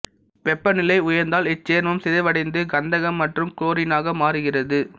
வெப்பநிலை உயர்ந்தால் இச்சேர்மம் சிதைவடைந்து கந்தகம் மற்றும் குளோரினாக மாறுகிறது